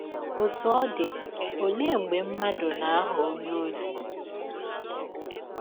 Ọtụ ọ dị, ọlee mgbe mmadụ mmadụ na - aghọ ọnye ọzi?